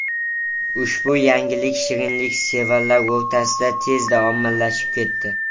Ushbu yangilik shirinliksevarlar o‘rtasida tezda ommalashib ketdi.